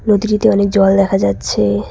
নদীটিতে অনেক জল দেখা যাচ্ছে।